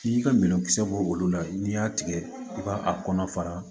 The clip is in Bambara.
N'i ka minɛn kisɛ bɔ olu la n'i y'a tigɛ i b'a a kɔnɔ fara